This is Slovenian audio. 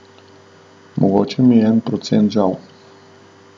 Mogoče mi je en procent žal.